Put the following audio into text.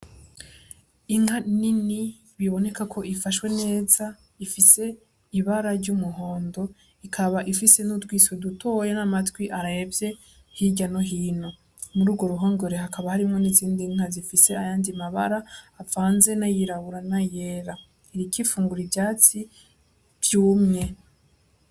Inka nini biboneka ko ifashwe neza, ifise ibara ry'umuhondo ikaba ifise n'utwiso dutoya n'amatwi arevye hirya no hino, muri urwo ruhongore hakaba hari n'izindi nka zifise ayandi mabara avanze n'ayirabura n'ayera, iriko ifungura ivyatsi vyumye.